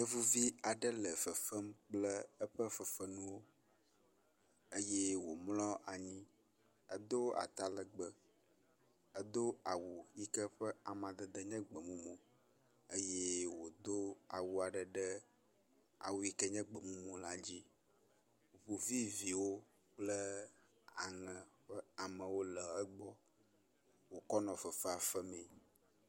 Yevuvi aɖe le fefem kple eƒe fefenuwo eye wòmlɔ anyi. Edo atalegbe, edo awu yike ƒe amadede nye gbe mumu eye wòdo awu aɖe ɖe awu yike nye gbe mumu la dzi. Ŋu vi viwo le kple aŋe ƒe amewo le egbɔ wòkɔ le fefea femii.